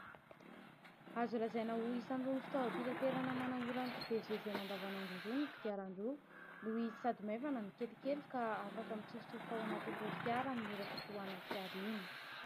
Azo lazaina ho isan'ny irony fitaovam-pitanterana manamora ny fivezivezena andavanandro irony ny kodiaran-droa, noho izy sady maivana no kelikely ka afaka mitsofotsofoka ao anatin'ireo fiara amin'ny ora fitohanan'ny fiara iny.